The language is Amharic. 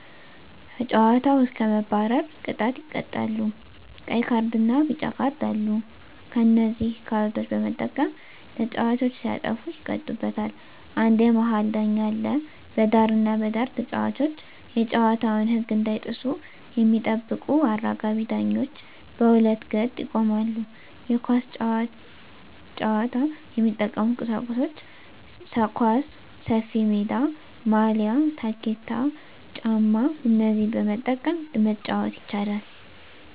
ከጨዋታዉ እስከ መባረር ቅጣት ይቀጣሉ ቀይ ካርድና ቢጫ ካርድ አሉ በነዚህ ካርዶች በመጠቀም ተጫዋቾች ሲያጠፉ ይቀጡበታል አንድ የመሀል ዳኛ አለ በዳርና በዳር ተጫዋቾች የጨዋታዉን ህግ እንዳይጥሱ የሚጠብቁ አራጋቢ ዳኞች በሁለት ገጥ ይቆማሉ የኳስ ጫዋች የሚጠቀሙበት ቁሳቁሶች ኳስ፣ ሰፊሜዳ፣ ማልያ፣ ታኬታ ጫማ እነዚህን በመጠቀም መጫወት ይቻላል